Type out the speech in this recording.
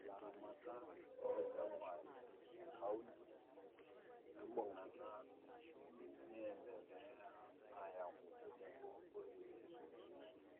Ilatamatak loonchampai tekaonty embungata niendeleaya aaku tenebo orkulie